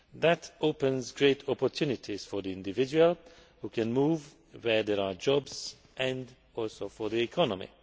That opens great opportunities for the individual, who can move where there are jobs, and also for the economy.